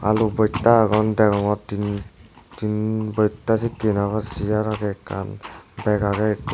alu bojta agon deongor tin tin bojta sikken obo araw segar agey ekkan beg agey ekko.